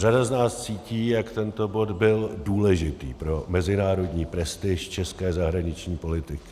Řada z nás cítí, jak tento bod byl důležitý pro mezinárodní prestiž české zahraniční politiky.